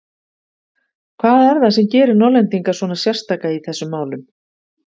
Hvað er það sem gerir Norðlendinga svona sérstaka í þessum málum?